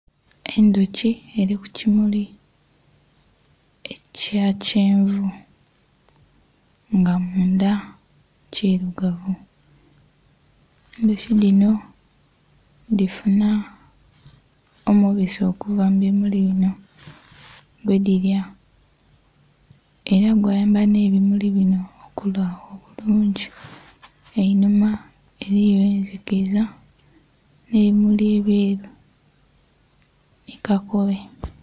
Endhoki eri ku kimuli ekya kyenvu nga mundha kirugavu, endhoki dhino dhifuna omubisi okuva mu bimuli binho gwe dhilya era gwamba nhe ebimuli binho okula obulungi, einhuma eriyo nhe ndhikiza nhe ebimuli ebweru nho kakobe.